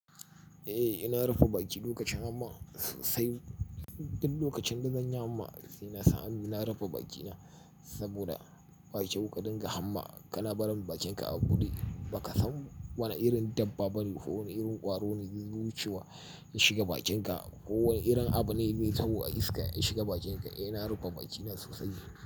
Eh, ina rufe bakina lokacin hamma sosai duk lokacin da zan yi hamma sai nasa hannu na rufe bakina saboda bakyau ka dinga hamma kana barin bakinka a buɗe baka samu wana irin dabba bane ko wana irin kwaro ne ya zo wucewa ya shiga bakinka ko wana irin abu ne mai tahowa iska ya shiga bakinka. Eh ina rufe bakina sosai.